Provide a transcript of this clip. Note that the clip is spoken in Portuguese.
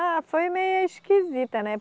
Ah, foi meia esquisita, né?